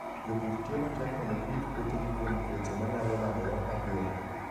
Jopur tiyo matek mondo girit puothegi kuom tuoche manyalo landore mapiyo.